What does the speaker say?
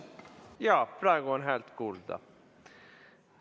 Jaa, praegu on häält kuulda.